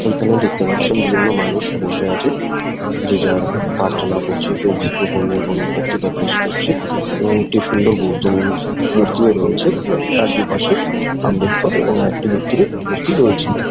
এখানে দেখতে পারছেন বিভিন্ন মানুষ বসে আছে | যে যার প্রার্থনা করছে কেউ মাইক্রোফোন নিয়ে কোনো বক্তিতা পেস করছে এবং একটি সুন্দর বৌদ্ধ মন মূর্তিও আছে এবং তার দু পশে আম্বেদকর এবং একটি ব্যক্তিরও মূর্তি রয়েছে।